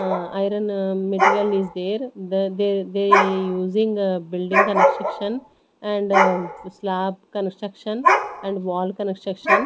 ah iron material is there the they they using a building construction and slab construction and wall construction.